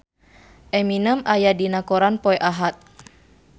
Eminem aya dina koran poe Ahad